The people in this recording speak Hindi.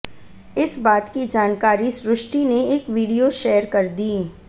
इस बात की जानकारी सृष्टि ने एक वीडियो शेयर कर दी